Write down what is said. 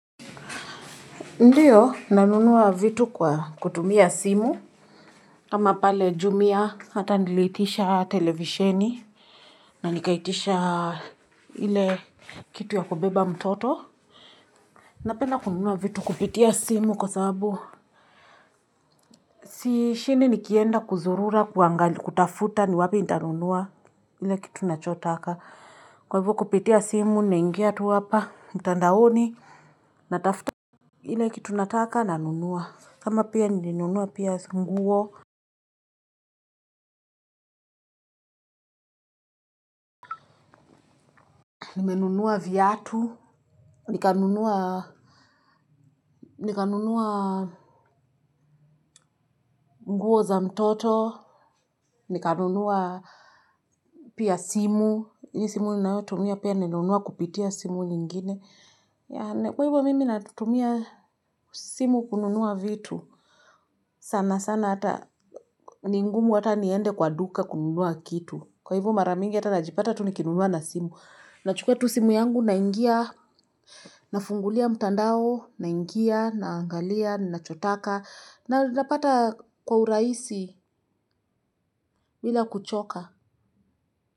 Ndiyo nanunua vitu kwa kutumia simu. Kama pale jumia hata niliitisha televisheni. Na nikaitisha ile kitu ya kubeba mtoto. Napenda kununua vitu kupitia simu kwa sababu. Sishindi nikienda kuzurura kutafuta ni wapi nitanunua. Ile kitu nachotaka. Kwa hivyo kupitia simu naingia tu hapa. Mtandaoni natafuta. Ile kitu nataka nanunua. Kama pia nilinunua pia nguo, nimenunua viatu, nikanunua mguo za mtoto, nikanunuwa pia simu. Hii simu ninayotumia pia nilinunua kupitia simu nyingine. Kwa hivyo mimi natumia simu kununua vitu. Sana sana ata ni ngumu hata niende kwa duka kununua kitu. Kwa hivyo mara mingi hata najipata tu nikinunua na simu. Nachukua tu simu yangu naingia, nafungulia mtandao, naingia, naangalia, ninachotaka, na napata kwa urahisi bila kuchoka.